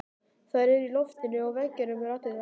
Þær eru í loftinu og veggjunum raddirnar.